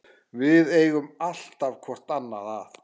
Við eigum alltaf hvort annað.